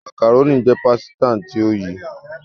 macaroni jé pàsìta tó yí.